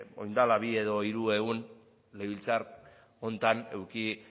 orain dela bi edo hiru egun legebiltzar honetan eduki